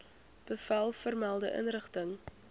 bevel vermelde inrigting